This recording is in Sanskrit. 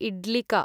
इड्लिका